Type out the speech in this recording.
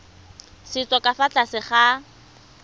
setso ka fa tlase ga